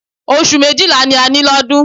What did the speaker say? Oṣù méjìlá ni a ní lọ́dún